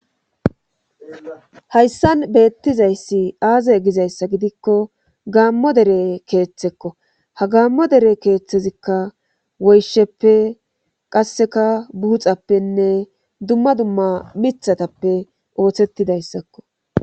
hayssan beettizayssi aazay gizayssa gidikko gaammo dere keeththekko ha gaammo dere keeththezikka woysheppe qasseka buuxappenne dumma dumma mithatappe ooththettidayssakko